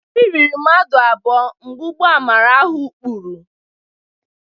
Miri rịrị mmadụ abụọ mgbe ụgbọ amara ahụ kpuru.